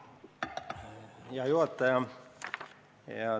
Hea juhataja!